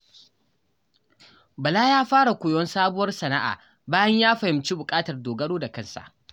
Bala ya fara koyon sabuwar sana'a bayan ya fahimci buƙatar dogaro da kansa.